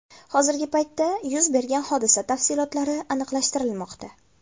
Hozirgi paytda yuz bergan hodisa tafsilotlari aniqlashtirilmoqda.